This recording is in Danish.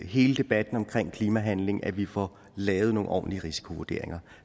hele debatten omkring klimahandling nemlig at vi får lavet nogle ordentlige risikovurderinger